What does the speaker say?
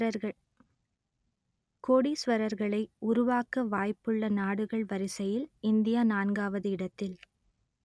கோடீசுவரர்களை உருவாக்க வாய்ப்புள்ள நாடுகள் வரிசையில் இந்தியா நான்காவது இடத்தில்